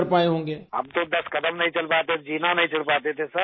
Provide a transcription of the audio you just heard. راجیش پرجاپتی ہم تودس قدم نہیں چل پاتے تھے، زینا نہیں چڑھ پاٹے تھے سر